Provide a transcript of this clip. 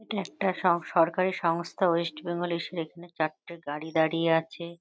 এটা একটা স সরকারি সংস্থা। ওয়েস্ট বেঙ্গল এর সে এখানে চারটে গাড়ি দাড়িয়ে আছে।